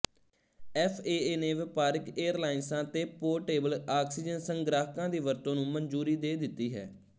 FAA ਨੇ ਵਪਾਰਕ ਏਅਰਲਾਇੰਸਾਂ ਤੇ ਪੋਰਟੇਬਲ ਆਕਸੀਜਨ ਸੰਗ੍ਰਾਹਕਾਂ ਦੀ ਵਰਤੋਂ ਨੂੰ ਮਨਜ਼ੂਰੀ ਦੇ ਦਿੱਤੀ ਹੈ